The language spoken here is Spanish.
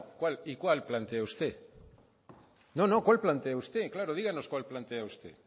y cuál plantea usted no no cuál plantea usted claro díganos cuál plantea usted